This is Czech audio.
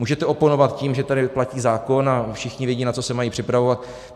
Můžete oponovat tím, že tady platí zákon a všichni vědí, na co se mají připravovat.